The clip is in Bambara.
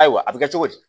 Ayiwa a bɛ kɛ cogo di